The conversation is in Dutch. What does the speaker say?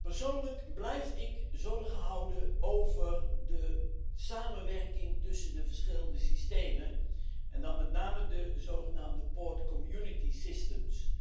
Persoonlijk blijf ik mij zorgen maken over de samenwerking tussen de verschillende systemen, en dan met name de zogenaamde havencommunicatiesystemen.